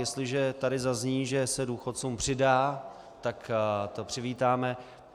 Jestliže tady zazní, že se důchodcům přidá, tak to přivítáme.